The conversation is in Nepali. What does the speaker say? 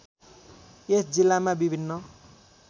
यस जिल्लामा विभिन्न